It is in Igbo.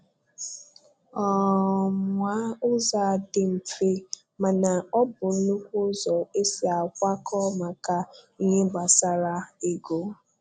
um Nwaa ụzọ a dị mfe mana um ọ bụ nnukwu ụzọ e si a kwakọ maka ihe gbasara ego